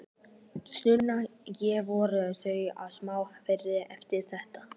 Sunna: Já, voru þau í smá áfalli eftir þetta?